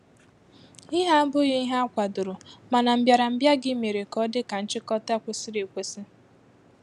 ìhé abụghị ìhè akwadoro mana mbịarambịa gị mere ka ọ dị ka nchịkọta kwesịrị ekwesị.